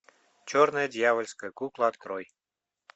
черная дьявольская кукла открой